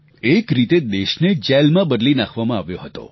એક રીતે દેશને જેલમાં બદલી નાખવામાં આવ્યો હતો